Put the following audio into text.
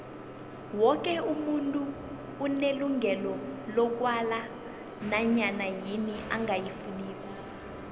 woke umuntu unelungelo lokwala nanyana yini angayifuniko